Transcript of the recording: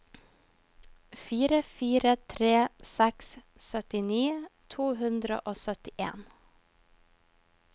fire fire tre seks syttini to hundre og syttien